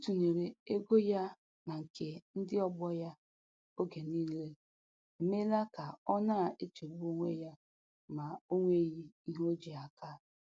Ịtụnyere ego ya na nke ndị ọgbọ ya oge niile emeela ka ọ na-echegbu onwe ya ma o nweghị ihe o ji aka.